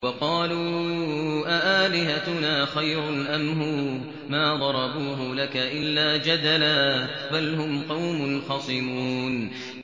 وَقَالُوا أَآلِهَتُنَا خَيْرٌ أَمْ هُوَ ۚ مَا ضَرَبُوهُ لَكَ إِلَّا جَدَلًا ۚ بَلْ هُمْ قَوْمٌ خَصِمُونَ